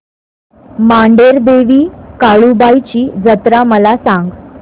मांढरदेवी काळुबाई ची जत्रा मला सांग